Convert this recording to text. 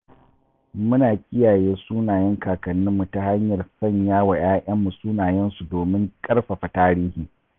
Muna kiyaye sunayen kakanninmu ta hanyar sanya wa 'ya'yanmu sunayensu domin ƙarfafa tarihi.